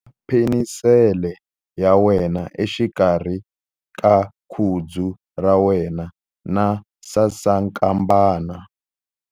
Khoma penisele ya wena exikarhi ka khudzu ra wena na sasankambana.